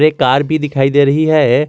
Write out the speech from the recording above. एक कार भी दिखाई दे रही है।